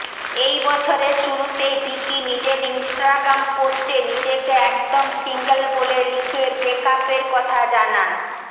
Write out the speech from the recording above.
এই বছরের শুরুতেই ভিকি নিজের ইনস্টাগ্রাম পোস্টে নিজেকে একদম সিঙ্গল বলে লিখে ব্রেকআপের কথা জানান